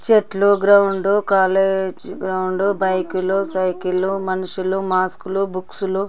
చెట్లు ground college ground bike లు cycle లు మనుషులు మాస్క్ లు బుక్స్ లు